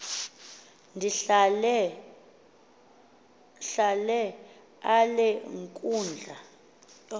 ndihlale ale nkundla